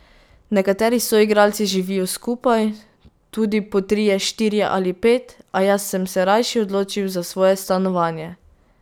Nekateri soigralci živijo skupaj, tudi po trije, štirje ali pet, a jaz sem se rajši odločil za svoje stanovanje.